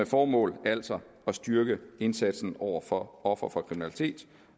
formål altså at styrke indsatsen over for ofre for kriminalitet